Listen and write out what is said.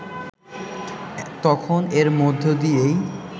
তখন এর মধ্য দিয়েই